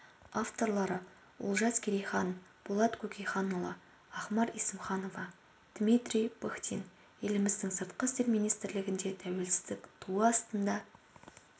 авторлары олжас керейхан болат көкенайұлы ахмар есімханова дмитрий пыхтин еліміздің сыртқы істер министрлігінде тәуелсіздік туы астында